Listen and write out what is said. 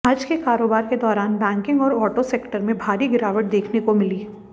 आज के कारोबार के दौरान बैंकिंग और ऑटो सेक्टर में भारी गिरावट देखने को मिली